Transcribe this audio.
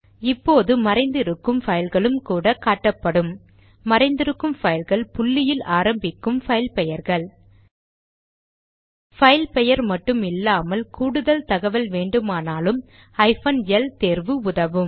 இப்போது மறைந்து இருக்கும் பைல்களும் கூட காட்டப்படும்மறைந்திருக்கும் பைல்கள் புள்ளியில் ஆரம்பிக்கும் பைல் பெயர்கள் பைல் பெயர் மட்டும் இல்லாமல் கூடுதல் தகவல் வேண்டுமானால் ஹைபன் எல் தேர்வு உதவும்